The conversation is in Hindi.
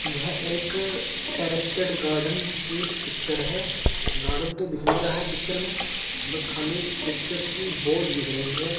यह एक टेरेस्टेड गार्डन की पिक्चर हैं गार्डन तो दिख नहीं रहा हैं पिक्चर में बस खाली पिक्चर की बोर्ड दिख रहीं हैं।